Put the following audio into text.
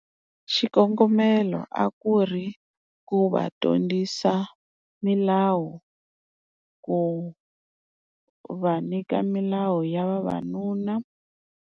Xikongomelo a ku ri ku va dyondzisa milawu, ku va nyika milawu ya vavanuna.